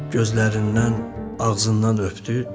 Gözlərindən, ağzından öpdü.